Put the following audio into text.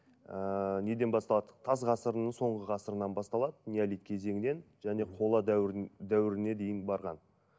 ыыы неден басталады тас ғасырының соңғы ғасырынан басталады неолит кезеңінен және қола дәуіріне дейін барған